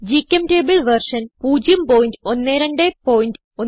ഗ്ചെംറ്റബിൾ version 01210